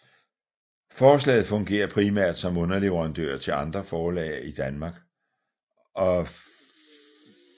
Forlaget fungerer primært som underleverandør til andre forlag i Danmark og udlandet